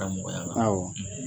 Da mɔgɔya la, awɔ